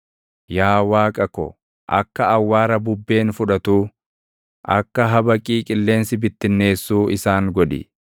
Yaa Waaqa ko, akka awwaara bubbeen fudhatuu, akka habaqii qilleensi bittinneessuu isaan godhi.